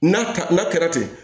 N'a ka n'a kɛra ten